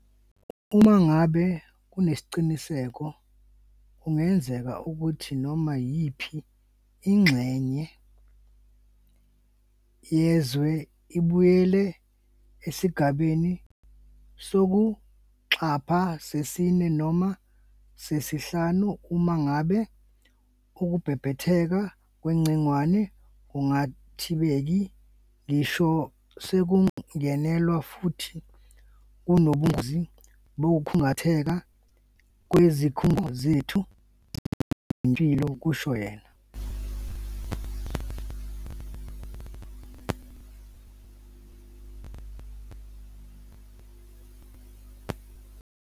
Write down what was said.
"Uma ngabe kunesiqiniseko kungenzeka ukuthi, noma yiphi ingxenye yezwe ibuyele esigabeni sokuqapha sesine noma sesihlanu uma ngabe ukubhebhetheka kwegcingwane kungathibeki ngisho sekungenelelwa futhi kunobungozi bokukhungatheka kwezikhungo zethu zezempilo," kusho yena.